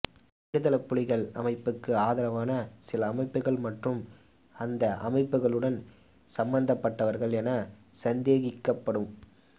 விடுதலைப் புலிகள் அமைப்புக்கு ஆதரவான சில அமைப்புகள் மற்றும் அந்த அமைப்புகளுடன் சம்பந்தப்பட்டவர்கள் என சந்தேகிக்கப்படும்